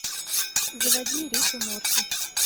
заводи рик и морти